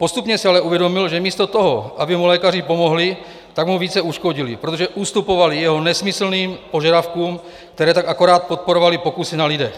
Postupně si ale uvědomil, že místo toho, aby mu lékaři pomohli, tak mu více uškodili, protože ustupovali jeho nesmyslným požadavkům, které tak akorát podporovaly pokusy na lidech.